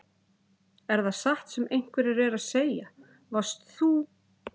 Er það satt sem einhverjir eru að segja: Varst þú.